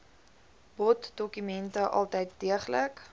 boddokumente altyd deeglik